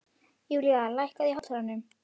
Julian, lækkaðu í hátalaranum.